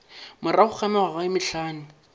morago ga mengwaga ye mehlano